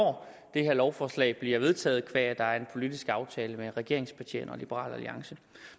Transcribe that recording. det her lovforslag bliver vedtaget qua at der er en politisk aftale mellem regeringspartierne og liberal alliance